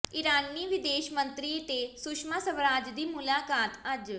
ਇਰਾਨੀ ਵਿਦੇਸ਼ ਮੰਤਰੀ ਤੇ ਸੁਸ਼ਮਾ ਸਵਰਾਜ ਦੀ ਮੁਲਾਕਾਤ ਅੱਜ